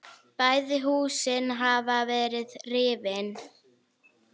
Bæði húsin hafa verið rifin.